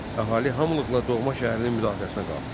Əhali hamılıqla doğma şəhərinin müdafiəsinə qalxdı.